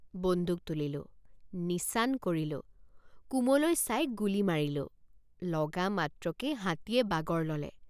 বন্দুক তুলিলোঁ নিচান কৰিলোঁ কুমলৈ চাই গুলী মাৰিলোঁ ৷ লগা মাত্ৰকেই হাতীয়ে বাগৰ ললে।